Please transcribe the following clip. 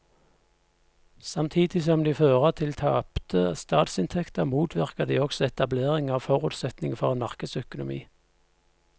Samtidig som de fører til tapte statsinntekter motvirker de også etablering av forutsetningene for en markedsøkonomi.